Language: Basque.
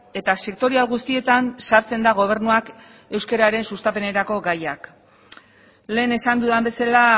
eta sektorial guztietan sartzen da gobernuak euskararen sustapenerako gaiak lehen esan dudan bezala